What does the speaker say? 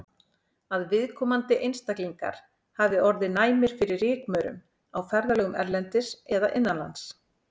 Að viðkomandi einstaklingar hafi orðið næmir fyrir rykmaurum á ferðalögum erlendis eða innanlands.